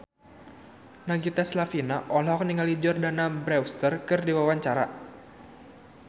Nagita Slavina olohok ningali Jordana Brewster keur diwawancara